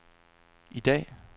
i dag